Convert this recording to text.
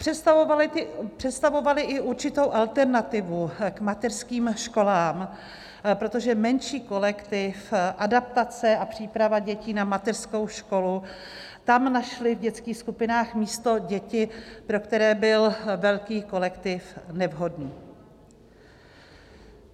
Představovaly i určitou alternativu k mateřským školám, protože menší kolektiv, adaptace a příprava dětí na mateřskou školu, tam našly v dětských skupinách místo děti, pro které byl velký kolektiv nevhodný.